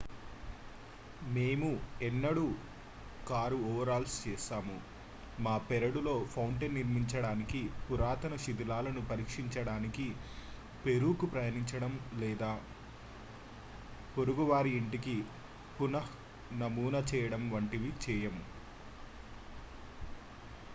మేము ఎన్నడూ కారుఓవర్హాల్ చేస్తాము మా పెరడులో ఫౌంటెన్ నిర్మించడానికి పురాతన శిథిలాలను పరీక్షించడానికి పెరూకు ప్రయాణించడం లేదా మన పొరుగువారి ఇంటిని పునఃనమూనా చేయడం వంటివేవీ చేయము